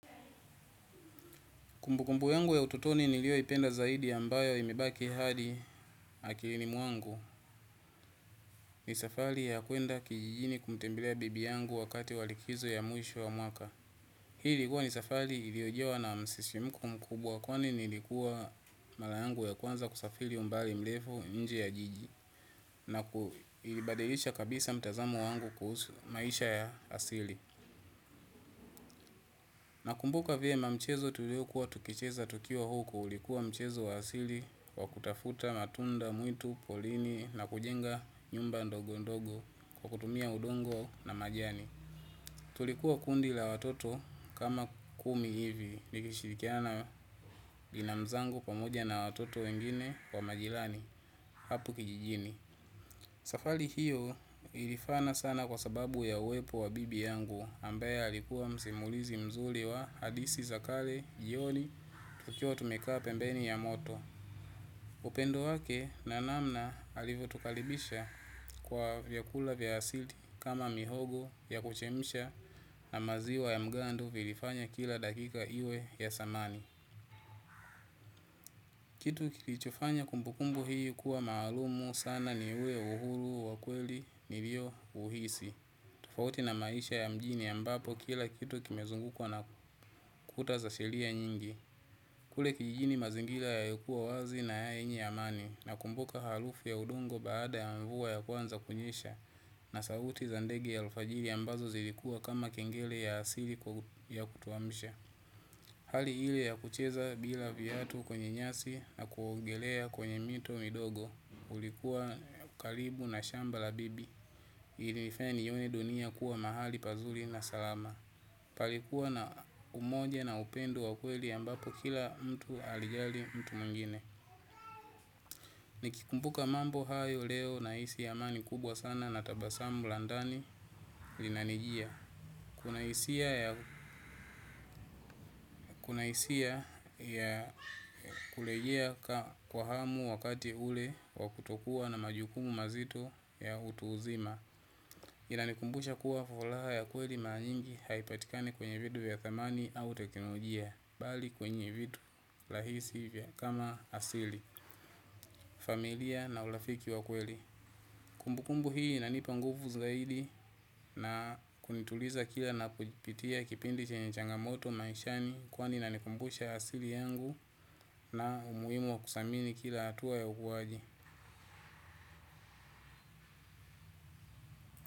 Kumbukumbu yangu ya ututoni nilio ipenda zaidi ya mbayo imebaki hadi akilini mwangu ni safari ya kuenda kijijini kumtembelea bibi yangu wakati walikizo ya mwisho wa mwaka. Hii likuwa ni safari iliojawa na msisimko mkubwa kwani nilikuwa mara yangu ya kwanza kusafiri umbali mrefu nje ya jiji na ilibadilisha kabisa mtazamo wangu kuhusu maisha ya asili. Nakumbuka vyema mchezo tulio kuwa tukicheza tukiwa huku ulikuwa mchezo wa asili wa kutafuta matunda, mwitu, polini na kujenga nyumba ndogo ndogo kwa kutumia udongo na majani. Tulikuwa kundi la watoto kama kumi hivi likishirikiana na binamu zangu pamoja na watoto wengine wa majirani hapo kijijini. Safari hiyo ilifana sana kwa sababu ya uwepo wa bibi yangu ambae alikuwa msimulizi mzuri wa hadithi za kale, jioni, tokiwa tumekaa pembeni ya moto. Upendo wake na namna alivotukaribisha kwa vyakula vya asili kama mihogo ya kuchemsha na maziwa ya mgando vilifanya kila dakika iwe ya thamani. Kitu kilichofanya kumbukumbu hii kuwa maalumu sana ni ule uhuru wa kweli nilio uhisi. Tofauti na maisha ya mjini ambapo kila kitu kimezungukwa na kuta za sheria nyingi. Kule kijini mazingira yalikua wazi na yenye amani na kumbuka harufu ya udongo baada ya mvua ya kwanza kunyesha na sauti za ndege ya alfajiri ambazo zilikuwa kama kengele ya asili ya kutuamsha. Hali ile ya kucheza bila viatu kwenye nyasi na kuongelea kwenye mito midogo ulikuwa karibu na shamba la bibi. Ilinifanya niione dunia kuwa mahali pazuri na salama. Palikuwa na umoja na upendo wa kweli ambapo kila mtu alijali mtu mwingine. Nikikumbuka mambo hayo leo nahisi amani kubwa sana na tabasamu la ndani lina nijia. Kuna hisia ya kurejea kwa hamu wakati ule wakuto kuwa na majukumu mazito ya utu uzima. Inanikumbusha kuwa faraha ya kweli mara nyingi haipatikani kwenye vitu ya thamani au teknolojia bali kwenye vitu rahisi vya kama asili. Familia na urafiki wa kweli. Kumbukumbu hii inanipa nguvu zaidi na kunituliza kila na kujipitia kipindi chenye changamoto maishani. Kwani inanikumbusha asili yangu na umuhimu wa kuthamini kila hatuwa ya ukuaji.